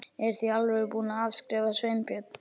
Eruð þið í alvörunni búnir að afskrifa Sveinbjörn?